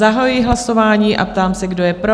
Zahajuji hlasování a ptám se, kdo je pro?